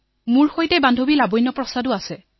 মোৰ সৈতে আছে লাৱণ্য প্ৰসাদ